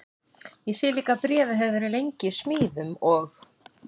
Ég sé líka að bréfið hefur verið lengi í smíðum og